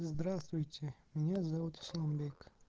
здравствуйте меня зовут асламбек